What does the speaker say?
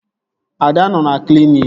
Ada nọ na kliniki